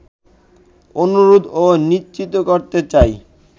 অনুরোধ ও নিশ্চিত করতে চাই